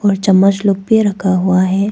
और चम्मच लोग भी रखा हुआ है।